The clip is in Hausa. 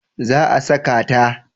Eh za a saka ta